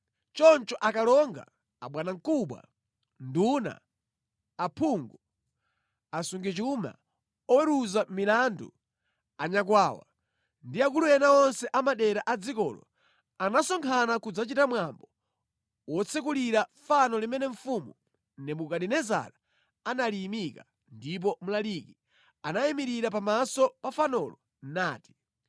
Choncho akalonga, abwanamkubwa, nduna, aphungu, asungichuma, oweruza milandu, anyakwawa, ndi akulu ena onse a madera a dzikolo, anasonkhana kudzachita mwambo wotsekulira fano limene mfumu Nebukadinezara analiyimika, ndipo mlaliki anayimirira pamaso pa fanolo nati: